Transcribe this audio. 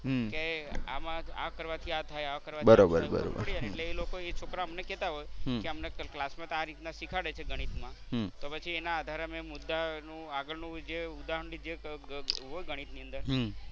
કે આમાં આ કરવાથી આ થાય આ કરવાથી આ થાય એટલે એ લોકો એ છોકરા ઓ અમને કેતા હોય કે અમને ક્લાસમાં આ રીતના શીખવાડે છે ગણિત માં તો પછી એના આધારે અમે મુદ્દા ના આગળનું જે ઉદાહરણ કે જે હોય ગણિતની અંદર